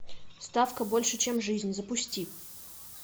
ставка больше чем жизнь запусти